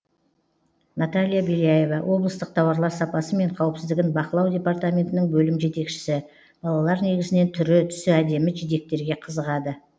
наталья беляева облыстық тауарлар сапасы мен қауіпсіздігін бақылау департаментінің бөлім жетекшісі балалар негізінен түрі түсі әдемі жидектерге қызығады